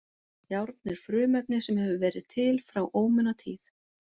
Járn er frumefni sem hefur verið til frá ómunatíð.